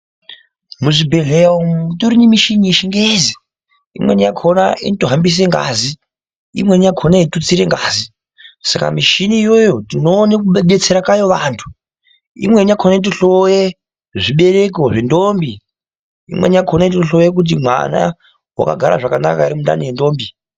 Muzvibhedhlera umo mutori nemushini yechingezi. Imweni yakhona inotohambise ngazi imweni yakhona yeitutsira ngazi. Saka michini iyoyo tinoone kudetsera kwayo vantu. Imweni yakhona inotohloye zvibereko zvendombi. Imweni yakhona inotohloye kuti mwana wakagara zvakanaka ere mundani mwendombi.